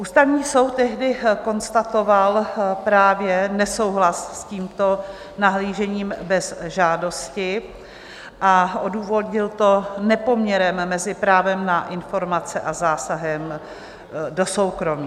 Ústavní soud tehdy konstatoval právě nesouhlas s tímto nahlížením bez žádosti a odůvodnil to nepoměrem mezi právem na informace a zásahem do soukromí.